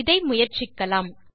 இதை முயற்சிக்கலாம்